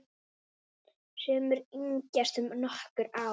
Sumir yngjast um nokkur ár.